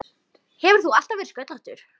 Hefur þú alltaf verið sköllóttur?